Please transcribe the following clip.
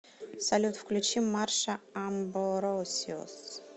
салют включи марша амбросиус